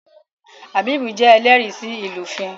Habib jé ẹlẹri sí ilufin